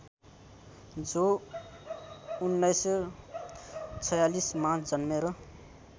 जो १९४६ मा जन्मेर